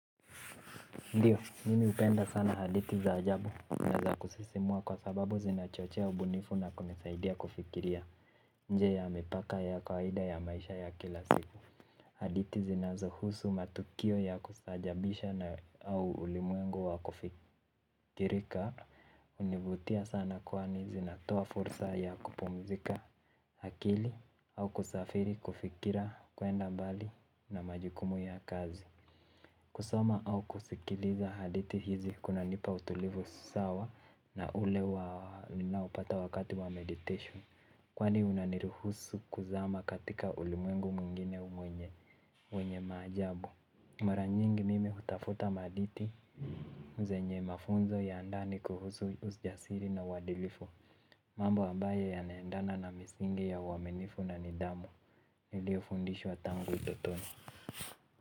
Ndiyo, mimi hupenda sana hadithi za ajabu na za kusisimua kwa sababu zinachochea ubunifu na kunisaidia kufikiria nje ya mipaka ya kwaida ya maisha ya kila siku. Hadithi zinazo husu matukio ya kustaajabisha na au ulimwengu wa kufikirika hunivutia sana kwani zinatoa fursa ya kupumzika akili au kusafiri kufikira kuenda mbali na majukumu ya kazi. Kusoma au kusikiliza hadithi hizi kunanipa utulivu sawa na ule wa ninaopata wakati wa meditation. Kwani unaniruhusu kuzama katika ulimwengu mwingine mwenye, wenye maajabu. Mara nyingi mimi uhtafuta mahadithi zenye mafunzo ya ndani kuhusu ujasiri na uadilifu. Mambo ambaye yana endana na misingi ya uaminifu na nidhamu. Nilio fundishwa tangu utotoni.